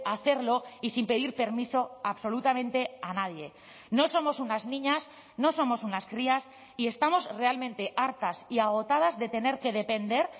hacerlo y sin pedir permiso absolutamente a nadie no somos unas niñas no somos unas crías y estamos realmente hartas y agotadas de tener que depender